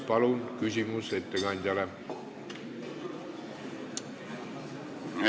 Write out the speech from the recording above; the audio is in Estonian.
Palun, küsimus ettekandjale!